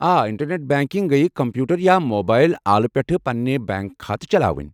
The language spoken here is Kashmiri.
آ، انٹرنٮ۪ٹ بنٛکنٛگ گیہِ کمپیوٗٹر یا موبایل آلہٕ پٮ۪ٹھٕہ پنٕنہِ بینٛک کھاتہٕ چلاوٕنۍ ۔